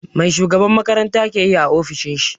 Mai shugaban makaranta ke yi a ofishin shi?